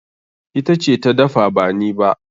Ita ce ta dafa ba ni ba.